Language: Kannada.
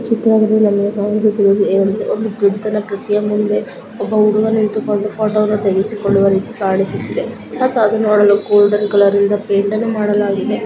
ಈ ಚಿತ್ರದಲ್ಲಿ ನಮಗೆ ಕಾಣಿಸುತ್ತಿರುವುದು ಏನೆಂದರೆ ಒಬ್ಬ ಬುದ್ಧನ ಪ್ರತಿಮೆ ಮುಂದೆ ಒಬ್ಬ ಹುಡುಗನ ನಿಂತುಕೊಂಡು ಫೋಟೋವನ್ನು ತೆಗೆಸಿಕೊಳ್ಳುವ ರೀತಿ ಕಾಣಿಸುತ್ತಿದೆ ಮತ್ತು ಅದು ನೋಡಲು ಗೋಲ್ಡ್ ಕಲರ್ ಇಂದ ಪೇಂಟನ್ನು ಮಾಡಲಾಗಿದೆ .